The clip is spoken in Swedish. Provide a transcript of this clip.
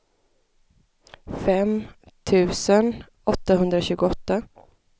fem tusen åttahundratjugoåtta